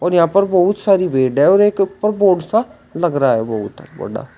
और यहां पर बहुत सारी भीड और एक ऊपर बोर्ड सा लग रहा है बहुत बड़ा।